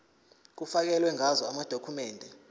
kufakelwe ngazo amadokhumende